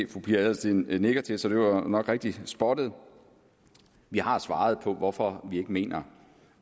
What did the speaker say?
fru pia adelsteen nikker til så det var nok rigtigt spottet vi har svaret på hvorfor vi ikke mener